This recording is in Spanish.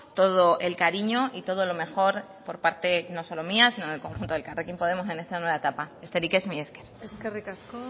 todo el cariño y todo lo mejor por parte no solo mía sino del conjunto de elkarrekin podemos en esta nueva etapa besterik ez mila esker eskerrik asko